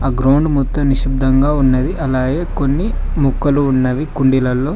ఆ గ్రౌండ్ మొత్తం నిశబ్దంగా ఉన్నది అలాగే కొన్ని మొక్కలు ఉన్నవి కుండీలలో.